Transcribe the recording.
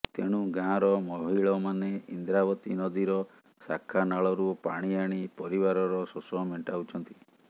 ତେଣୁ ଗାଁର ମହିଳମାନେ ଇନ୍ଦ୍ରାବତୀ ନଦୀର ଶାଖା ନାଳରୁ ପାଣି ଆଣି ପରିବାରର ଶୋଷ ମେଂଟାଉଛନ୍ତି